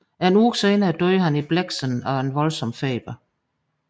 En uge senere døde han i Blexen af en voldsom feber